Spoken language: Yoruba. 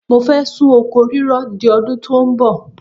Mo fẹ́ sún oko rírọ di ọdún tó ń bọ̀.